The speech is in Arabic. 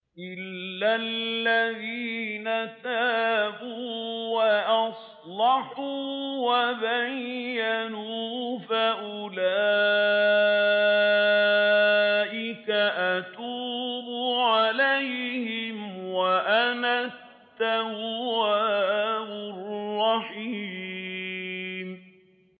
إِلَّا الَّذِينَ تَابُوا وَأَصْلَحُوا وَبَيَّنُوا فَأُولَٰئِكَ أَتُوبُ عَلَيْهِمْ ۚ وَأَنَا التَّوَّابُ الرَّحِيمُ